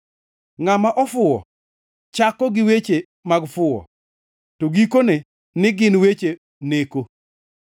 Ngʼama ofuwo chako gi weche mag fuwo; to gikone ni gin weche neko,